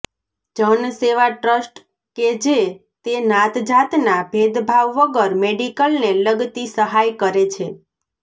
જનસેવા trust કે જે તે નાતજાતનાં ભેદભાવ વગર મેડિકલને લગતી સહાય કરે છે